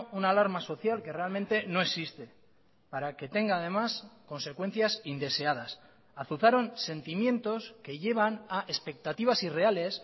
una alarma social que realmente no existe para que tenga además consecuencias indeseadas azuzaron sentimientos que llevan a expectativas irreales